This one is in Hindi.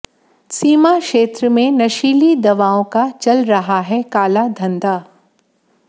सीमा क्षेत्र में नशीली दवाओं का चल रहा है काला धंधा